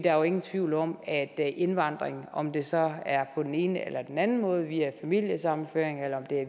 er ingen tvivl om at indvandringen om det så er på den ene eller den anden måde via familiesammenføring eller